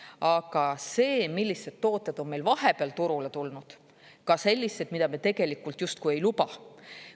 Aga see, millised tooted on meil vahepeal turule tulnud, ka sellised, mida me tegelikult justkui ei luba.